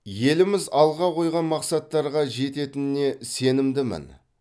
еліміз алға қойған мақсаттарға жететініне сенімдімін